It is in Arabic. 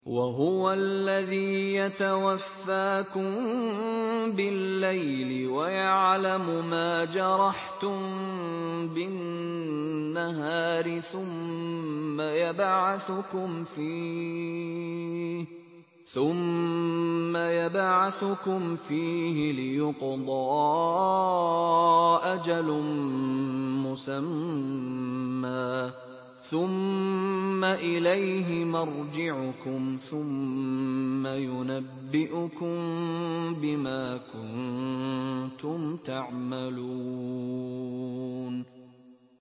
وَهُوَ الَّذِي يَتَوَفَّاكُم بِاللَّيْلِ وَيَعْلَمُ مَا جَرَحْتُم بِالنَّهَارِ ثُمَّ يَبْعَثُكُمْ فِيهِ لِيُقْضَىٰ أَجَلٌ مُّسَمًّى ۖ ثُمَّ إِلَيْهِ مَرْجِعُكُمْ ثُمَّ يُنَبِّئُكُم بِمَا كُنتُمْ تَعْمَلُونَ